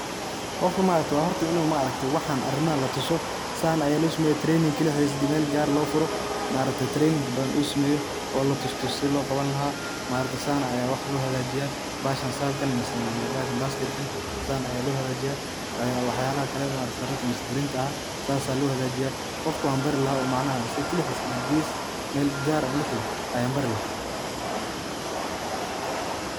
Qofka ma aragte wa horta inu ma aragte waxan arinmahan latuso, San aya loo sameeya training kelixis Mel gaar eh lofuro ma aragte training badan uu sameeyo oo la tustuso sii loo qabani lahaa ma aragte San aya wax loo hagajiya, bahashan sabkan mise basket kan sidan aya loo hagajiyo, wax yalaha kale ma aragte darinta misee sarirta aha sas aa loo hagajiya qofka wan bari lahaa oo macnaha asaga kelixis Mel gaar ah intan latago ayan bari laha